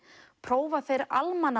prófa þeir